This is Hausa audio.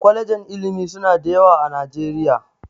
Kwalejin ilimi suna da yawa a Najeriya